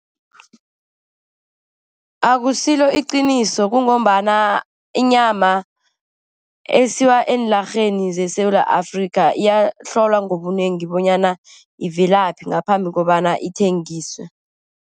Akusilo iqiniso, kungombana inyama esiwa eenlarheni zeSewula Afrika iyahlolwa ngobunengi bonyana ivelaphi ngaphambi kobana ithengiswe.